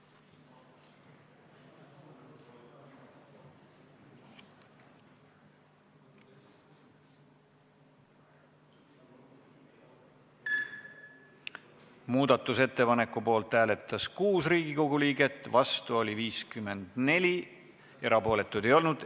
Hääletustulemused Muudatusettepaneku poolt hääletas 6 Riigikogu liiget, vastu oli 54, erapooletuid ei olnud.